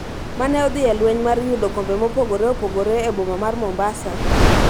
mane odhi e lweny mar yudo kombe mopogore opogore e boma mar Mombasa,